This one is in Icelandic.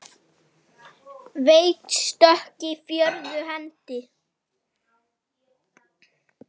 Veik stökk í fjórðu hendi!